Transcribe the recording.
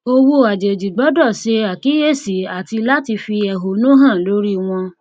owó àjèjì gbọdọ ṣe àkíyèsí àti láti fi ẹhọnú hàn lórí wọn